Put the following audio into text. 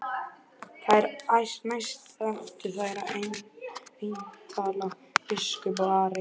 Þar næst áttu þeir eintal biskup og Ari.